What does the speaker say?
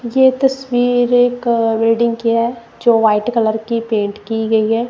ये तस्वीर का वेडिंग किया है जो वाइट कलर की पेंट की गई है।